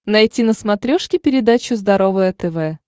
найти на смотрешке передачу здоровое тв